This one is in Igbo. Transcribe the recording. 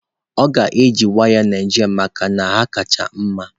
Ọ ga-eji waya Naijiria maka na ha kacha mma